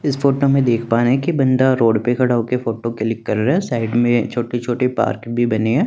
इस फोटो में देख पा रहे है की बंदा रोड पर खड़ा होकर फोटो क्लिक कर रहा है साइड में छोटे छोटे पार्क भी बने है।